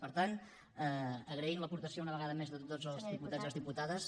per tant agraïm l’aportació una vegada més de tots els diputats i les diputades